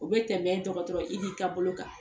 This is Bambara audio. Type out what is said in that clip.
U bɛ tɛmɛ dɔgɔtɔrɔ Idi ka bolo kan.